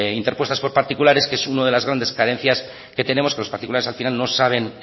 interpuestas por particulares que es una de las grandes carencias que tenemos que los particulares al final no saben